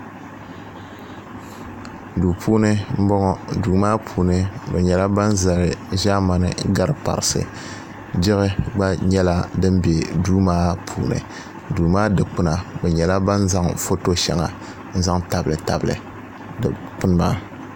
Duu puuni m-bɔŋɔ duu maa puuni bɛ nyɛla ban zali ʒɛmani ɡariparisi diɣi ɡba nyɛla din be duu maa puuni duu maa dikpuna bɛ nyɛla ban zaŋ foto shɛŋa n-zaŋ tabilitabili dikpuni maa